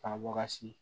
K'a baga si